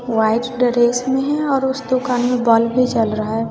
White dress में है और उस दुकान में बल्ब भी जल रहा है।